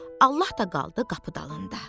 Allah da qaldı qapı dalında.